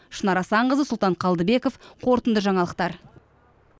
шынар асанқызы сұлтан қалдыбеков қорытынды жаңалықтар